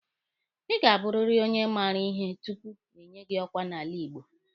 Ị ga-abụrịrị onye maara ihe tupu enye gị ọkwa n'ala Igbo.